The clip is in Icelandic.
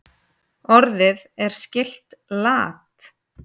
Orðið er skylt lat.